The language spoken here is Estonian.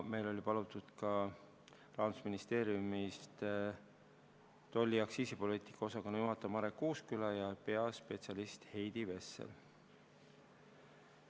Meil olid kohale palutud ka Rahandusministeeriumi tolli- ja aktsiisipoliitika osakonna juhataja Marek Uusküla ja peaspetsialist Heidi Vessel.